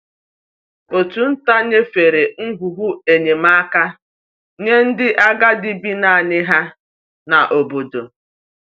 Òtù nta nyefere ngwugwu enyemaka nye ndị agadi bi naanị ha n’obodo.